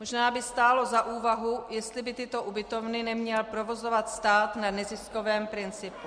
Možná by stálo za úvahu, jestli by tyto ubytovny neměl provozovat stát na neziskovém principu.